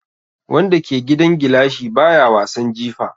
Wanda ke gidan gilashi baya wasan jifa.